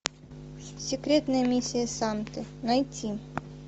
секретная миссия санты найти